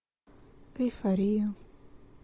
эйфория